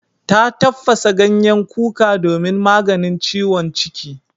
Ta tafasa ganyen kuka domin maganin ciwon ciki.